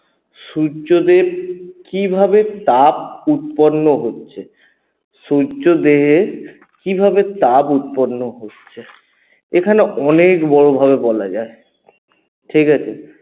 সূর্যদেব কিভাবে তাপ উৎপন্ন হচ্ছে? সূর্য থেকে কীভাবে তাপ উৎপন্ন হচ্ছে? এখানে অনেক বড় ভাবে বলা যায় ঠিকাছে?